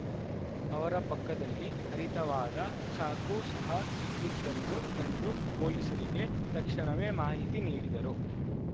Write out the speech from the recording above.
ಅವರ ಪಕ್ಕದಲ್ಲಿ ಹರಿತವಾದ ಚಾಕು ಸಹ ಇದ್ದದನ್ನು ಕಂಡು ಪೊಲೀಸರಿಗೆ ತಕ್ಷಣವೇ ಮಾಹಿತಿ ನೀಡಿದರು